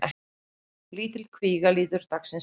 Lítil kvíga lítur dagsins ljós